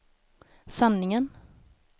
sanningen